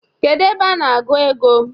Kedu ebe a na-agụ ego?